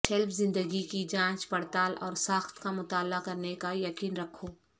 shelf زندگی کی جانچ پڑتال اور ساخت کا مطالعہ کرنے کا یقین رکھو